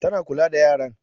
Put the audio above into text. Ta na kula da yaran.